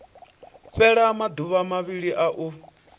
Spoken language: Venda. fhela maduvha mavhili a u